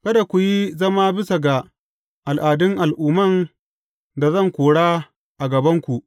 Kada ku yi zama bisa ga al’adun al’umman da zan kora a gabanku.